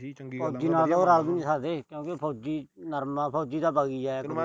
ਕਿਉਂਕਿ ਉਹ ਫੌਜੀ ਨਰਮ ਆ, ਫੌਜੀ ਤਾ ਬਗ ਈ ਜਾਇਆ ਕਰੂ।